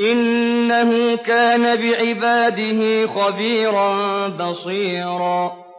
إِنَّهُ كَانَ بِعِبَادِهِ خَبِيرًا بَصِيرًا